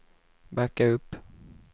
backa upp